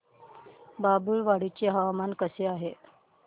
बाभुळवाडी चे हवामान कसे आहे